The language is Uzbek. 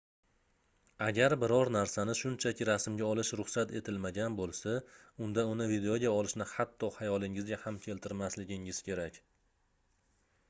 agar biror narsani shunchaki rasmga olish ruxsat etilmagan boʻlsa unda uni videoga olishni hatto xayolingizga ham keltirmasligingiz kerak